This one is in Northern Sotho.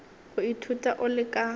go ithuta o le ka